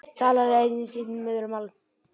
Talar enn sitt móðurmál.